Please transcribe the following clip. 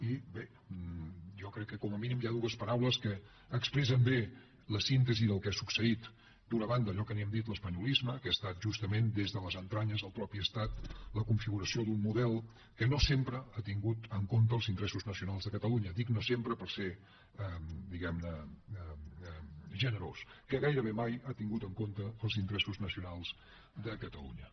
i bé jo crec que com a mínim hi ha dues paraules que expressen bé la síntesi del que ha succeït d’una banda allò que n’hem dit l’espanyolisme que ha estat justament des de les entranyes del mateix estat la configuració d’un model que no sempre ha tingut en compte els interessos nacionals de catalunya dic no sempre per ser diguem ne generós que gairebé mai no ha tingut en compte els interessos nacionals de catalunya